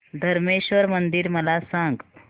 धरमेश्वर मंदिर मला सांग